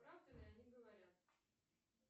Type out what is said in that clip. правду ли они говорят